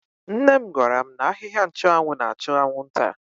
Nne m gwara m n'ahịhịa nchụanwụ na-achụ anwụnta.